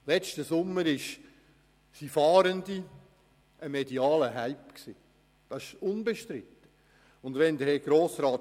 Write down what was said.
Im letzten Sommer waren die Fahrenden unbestrittenermassen ein medialer Hype.